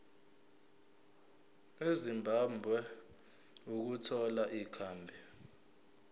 ezimbabwe ukuthola ikhambi